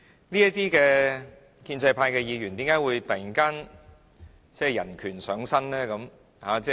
這些建制派議員為何突然人權上身？